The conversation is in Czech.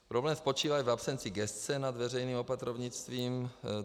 Problém spočívá i v absenci gesce nad veřejným opatrovnictvím.